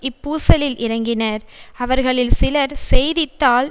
இப்பூசலில் இறங்கினர் அவர்களில் சிலர் செய்தி தாள்